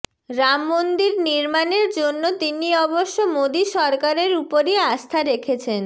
রাম মন্দির নির্মাণের জন্য তিনি অবশ্য মোদী সরকারের উপরই আস্থা রেখেছেন